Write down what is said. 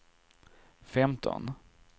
femton